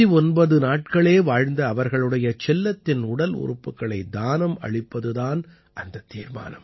39 நாட்களே வாழ்ந்த அவர்களுடைய செல்லத்தின் உடல் உறுப்புக்களை தானம் அளிப்பது தான் அந்தத் தீர்மானம்